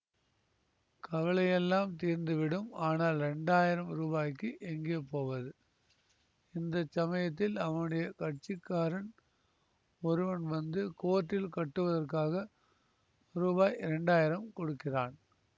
கவலையெல்லாம் தீர்ந்துவிடும் ஆனால் இரண்டாயிரம் ரூபாய்க்கு எங்கே போவது இந்த சமயத்தில் அவனுடைய கட்சிக்காரன் ஒருவன் வந்து கோர்ட்டில் கட்டுவதற்காக ரூபாய் இரண்டாயிரம் கொடுக்கிறான்